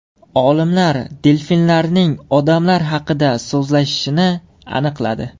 Olimlar delfinlarning odamlar haqida so‘zlashishini aniqladi.